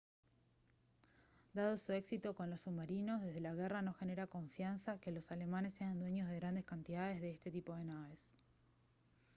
dado su éxito con los submarinos desde la guerra no genera confianza que los alemanes sean dueños de grandes cantidades de este tipo de naves